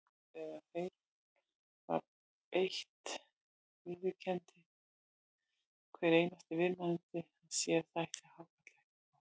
Þegar þeim var beitt viðurkenndi hver einasti viðmælandi að sér þætti hákarl ekkert góður.